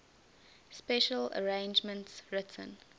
special arrangements written